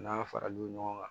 N'an fara l'o ɲɔgɔn kan